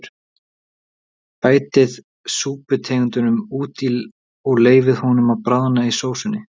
Bætið súputeningnum út í og leyfið honum að bráðna í sósunni.